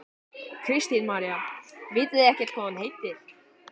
Kristín María: Vitið þið ekkert hvað hún heitir?